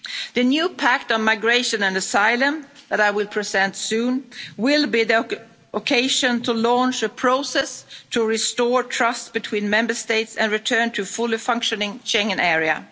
situation. The new pact on migration and asylum that I will present soon will be the occasion to launch a process to restore trust between Member States and return to a fully functioning Schengen